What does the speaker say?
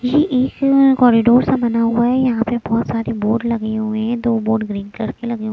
ये एक कॉरिडोर सा बना हुआ है यहां पे बहुत सारे बोर्ड लगे हुए हैं दो बोर्ड ग्रीन कलर के लगे--